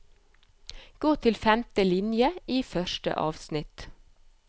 Gå til femte linje i første avsnitt